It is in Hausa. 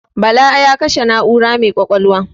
Bala ya kashe na'ura mai ƙwaƙwalwa.